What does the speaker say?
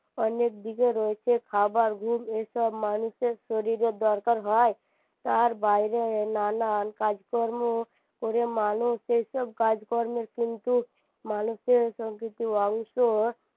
অনেক দিকে রয়েছে খাবার গুড় এসব মানুষের শরীরের দরকার হয় তার বাইরে নানান কাজকর্ম করে মানুষ এসব কাজ কর্মের কিন্তু মানুষের সংকৃতির অংশ